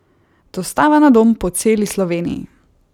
Dostava na dom po celi Sloveniji!